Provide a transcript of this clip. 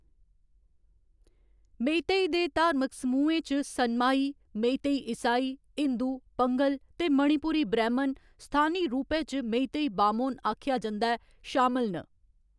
मेईतेई दे धार्मक समूहें च सनमाही, मेईतेई ईसाई, हिंदू, पंगह्‌ल ते मणिपुरी ब्रैह्‌‌मन, स्थानी रूपै च मेईतेई बामोन आखेआ जंदा ऐ, शामल न।